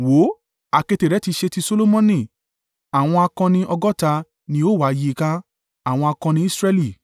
Wò ó! Àkéte rẹ̀ tí í ṣe ti Solomoni, àwọn akọni ọgọ́ta ni ó wà yí i ká, àwọn akọni Israẹli,